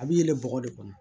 A b'i yɛlɛn bɔgɔ de kɔnɔ